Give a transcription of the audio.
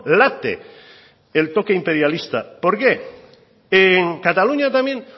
late el toque imperialista por qué en cataluña también